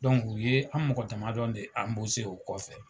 u ye an mɔgɔ damadɔ de o kɔfɛ.